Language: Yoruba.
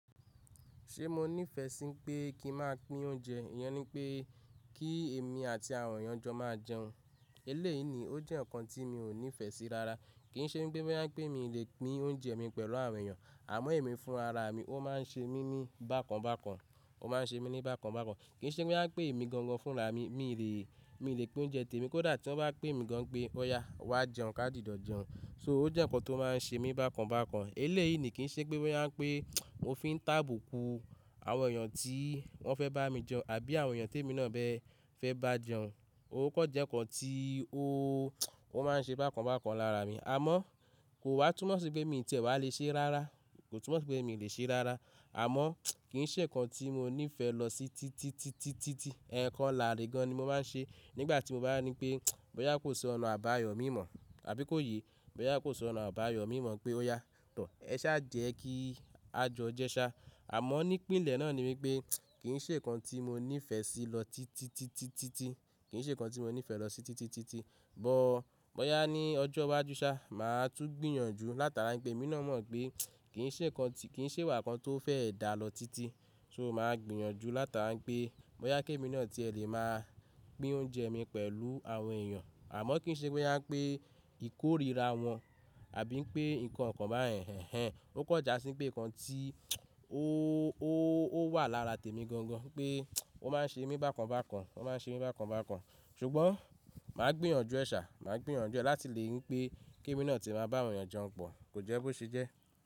Ṣé mo nífẹ̀ẹ́ sí pé kí n máa pín oúnjẹ? Ìyẹn ni pé kí èmi àti àwọn èèyàn jọ máa jẹun. Eléyìí ni ó jẹ́ ǹkan tí mi ò nífẹ̀ẹ́ sí rara. Kì í ṣe wípé wọ́n yà pé mi lè pín oúnjẹ mi pẹ̀lú àwọn èèyàn, àmọ́ èmi fún ara mi ó máa ń ṣe mí mí bákan bákan, ó máa ń ṣe mí ní bákan bákan. Kì í ṣe wípé wọ́n yà pé èmi gangan fúnra mi, mi lè, mi lè pín oúnjẹ tèmi, kódà tí wọ́n bá pè mi gan pé óya wá jẹun, ká jìijọ̀ jẹun. So ó jẹ́ ǹkan tó máa ń ṣe mí bákan bákan. Eléyìí ni kì í ṣe wípé wọ́n yà pé mó fi ń tàbù kù àwọn èèyàn tí wọ́n fẹ́ bá mi jẹun àbí àwọn èèyàn tí èmi náà bẹ fẹ́ bá jẹun. Ó kọ je ǹkan tí ó, ó máa ń ṣe bákan bákan lára mi. Àmọ́ kò wá túmọ̀ sí pé mi ǹ tiẹ wà le ṣe rárá, kò túmọ̀ sí pé mi lè ṣe rárá. Àmọ́ kì í ṣe ǹkan tí mo nífẹ̀ẹ́ lọ sí títí, títí, títí. Ẹ̀ẹ̀kan láre gan ni mo máa ń ṣe nígbà tí mo bá ní pé bọ́yá kò sọ ọ̀nà àbáyọ mì mọ̀ àbí kó yé, bọ́yá kò sọ ọ̀nà àbáyọ mì mọ̀ pé óya tọ̀, ẹ sá jẹ kí a jẹun jẹ sá. Àmọ́ ní ìpínlẹ̀ náà ni wípé kì í ṣe ǹkan tí mo nífẹ̀ẹ́ sí lọ títí, títí, títí, kì í ṣe ǹkan tí mo nífẹ̀ẹ́ lọ sí títí, títí, títí. Bọ́, bọ́yá ní ọjọ́ iwájú sá, màá tú gbìyànjú látara pé èmi náà mọ̀ pé kì í ṣe ǹkan tí, kì í ṣe wà kan tó fẹ́ dà lọ títí. So màá gbìyànjú látara pé bọ́yá kí èmi náà tí ẹ lè máa pín oúnjẹ mi pẹ̀lú àwọn èèyàn. Àmọ́ kì í ṣe boya wípé ìkórira wọn àbí pé ǹkan kan bá ẹ̀hẹ̀ń, ó kọjá sí pé ǹkan tí ó, ó, ó wà lára tèmi gangan pé ó máa ń ṣe mí bákan bákan, ó máa ń ṣe mí bákan bákan. Ṣùgbọ́n màá gbìyànjú ẹ sá, màá gbìyànjú ẹ láti lè wípé kí èmi náà tí máa bá àwọn èèyàn jẹun pọ̀. Kò jẹ́ bó ṣe jẹ́.